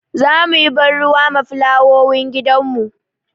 Za mu yi ban ruwa ma fulawowin gidanmu.